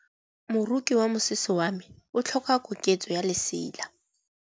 Moroki wa mosese wa me o tlhoka koketsô ya lesela.